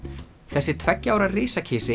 þessi tveggja ára